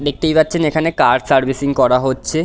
দেখতেই পাচ্ছেন এখানে কার সার্ভিসিং করা হচ্ছে।